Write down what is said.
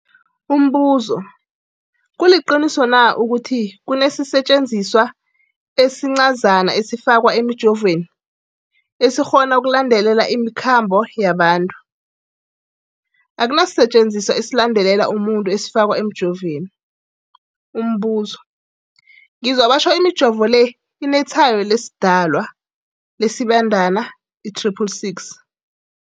Umbuzo, kuliqiniso na ukuthi kunesisetjenziswa esincazana esifakwa emijovweni, esikghona ukulandelela imikhambo yabantu? Akuna sisetjenziswa esilandelela umuntu esifakwe emijoveni. Umbuzo, ngizwa batjho imijovo le inetshayo lesiDalwa, lesiBandana i-666.